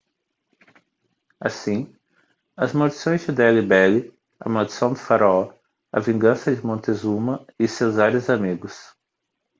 assim as maldições de delhi belly a maldição do faraó a vingança de montezuma e seus vários amigos